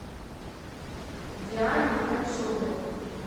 диане ткачевой